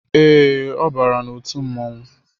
Ee, ọ bara n'otu mmọnwu